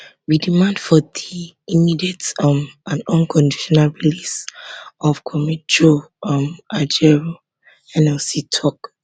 we demand for di immediate um and unconditional release of comrade joe um ajaero nlc tok